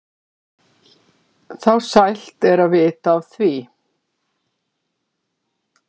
þá sælt er að vita af því.